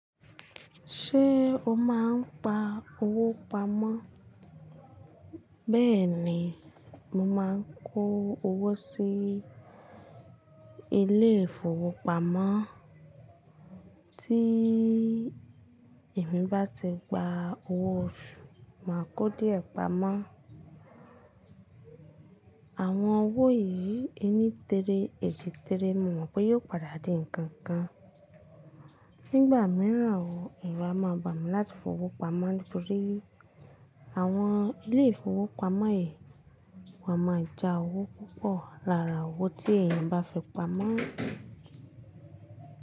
Ṣé o máa ń pa owó pamọ́? Bẹ́ẹ̀ ni, mo máa ń kó owó sí ilé ìfowópamọ́. Tí èmi bá ti gba owó oṣù, màá kó díẹ̀ pamọ́. Àwọn owó yìí ẹni tere èjì tere mo mọ̀ pé yóò padà di ǹkan kan. Nígbà mìíràn o, ẹru a máa bà mí láti fowó pamọ́ nítorí àwọn ilé ìfowópamọ́ yìí wà máa ja owó púpọ̀ lára owó tí èèyàn bá fi pamọ́.